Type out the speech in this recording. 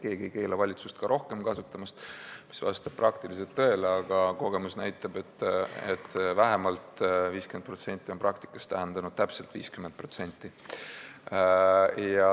Keegi ei keela valitsust rohkem kasutamast, see vastab tõele, aga kogemus näitab, et vähemalt 50% on praktikas tähendanud täpselt 50%.